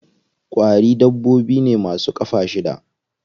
Ƙwari dabbobi ne ma su ƙafa shida.